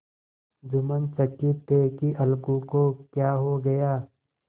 जुम्मन चकित थे कि अलगू को क्या हो गया